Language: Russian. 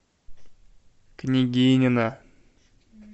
княгинино